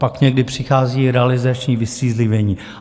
Pak někdy přichází realizační vystřízlivění.